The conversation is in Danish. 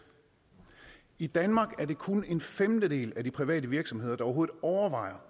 i danmark er det kun en femtedel af de private virksomheder der overhovedet overvejer